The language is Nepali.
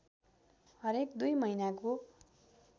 हरेक दुई महिनाको